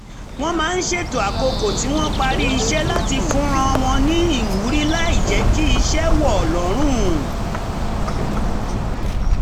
wọ́n máa ń ṣètò àkókò tí wọ́n parí iṣẹ́ láti fúnra wọn ní ìwúrí láì jẹ́ kí iṣẹ́ wọ̀ lọ́rùn